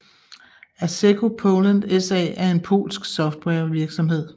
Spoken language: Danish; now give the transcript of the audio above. Asseco Poland SA er en polsk softwarevirksomhed